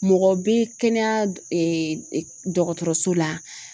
Mɔgɔw be kɛnɛya ee dɔgɔtɔrɔso la